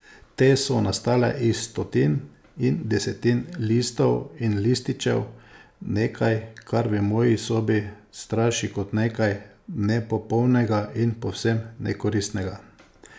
Te so nastale iz stotin in desetin listov in lističev, nekaj, kar v moji sobi straši kot nekaj nepopolnega in povsem nekoristnega.